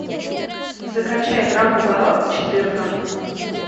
закачай враг у ворот четырка